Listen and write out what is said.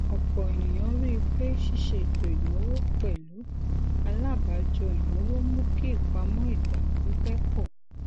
ọpọ ènìyàn rí i pé ṣíṣe ètò ináwó pẹlú alábàájọ ináwó mú kí ìpamọ igba pipẹ pọ